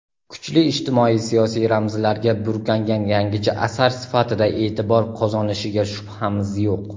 kuchli ijtimoiy-siyosiy ramzlarga burkangan yangicha asar sifatida e’tibor qozonishiga shubhamiz yo‘q.